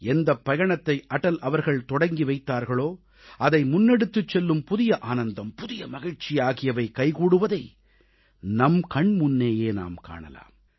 எந்தப் பயணத்தை அடல் அவர்கள் தொடக்கி வைத்தார்களோ அதை முன்னெடுத்துச் செல்லும் புதிய ஆனந்தம் புதிய மகிழ்ச்சி ஆகியவை கைகூடுவதை நம் கண்முன்னேயே நாம் காணலாம்